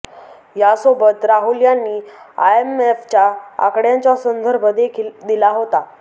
यासोबत राहुल यांनी आयएमएफच्या आकड्यांच्या संदर्भ देखील दिला होता